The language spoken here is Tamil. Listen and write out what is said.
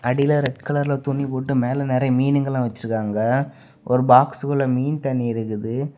அடில ரெட் கலர்ல துணி போட்டு மேல நெறைய மீனுங்கெல்லா வச்சிருக்காங்க ஒரு பாக்ஸ்குள்ள மீன் தண்ணி இருக்குது.